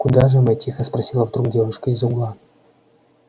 куда же мы тихо спросила вдруг девушка из угла